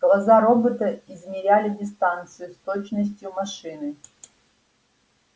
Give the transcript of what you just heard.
глаза робота измеряли дистанцию с точностью машины